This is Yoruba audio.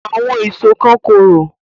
Àwọn èso kan korò